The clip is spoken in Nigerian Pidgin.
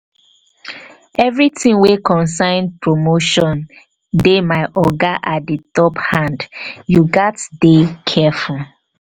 everytin wey concern promotion dey my oga at di di top hand you gats dey careful.